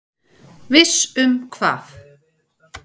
Viss um hvað?